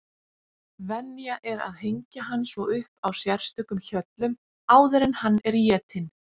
Venja er að hengja hann svo upp á sérstökum hjöllum áður en hann er étinn.